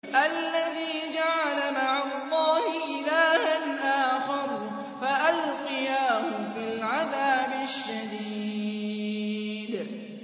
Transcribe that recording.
الَّذِي جَعَلَ مَعَ اللَّهِ إِلَٰهًا آخَرَ فَأَلْقِيَاهُ فِي الْعَذَابِ الشَّدِيدِ